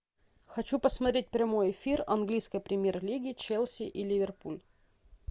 хочу посмотреть прямой эфир английской премьер лиги челси и ливерпуль